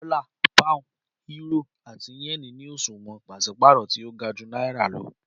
Dọla, Pound, Euro ati Yen ni oṣuwọn paṣipaarọ ti o ga ju Naira lọ